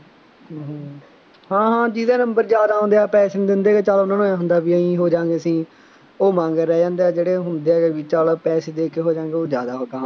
ਹਾਂ ਹਾਂ ਜਿਹਦੇ ਨੰਬਰ ਜ਼ਿਆਦਾ ਆਉਂਦੇ ਆ, ਪੈਸੇ ਨਹੀਂ ਦਿੰਦੇ ਹੈਗੇ, ਚੱਲ ਉਹਨਾ ਨੂੰ ਆਏਂ ਹੁੰਦਾ ਬਈ ਆਏਂ ਹੋ ਜਾ ਗੇ ਅਸੀਂ, ਉਹ ਮਗਰ ਰਹਿ ਜਾਂਦੇ ਆ, ਜਿਹੜੇ ਹੁੰਦੇ ਆ ਵਿੱਚ ਵਾਲਾ ਪੈਸੇ ਦੇ ਕੇ ਹੋ ਜਾਂ ਗੇ, ਉਹ ਜ਼ਿਆਦਾ ਕਾਮਯਾਬ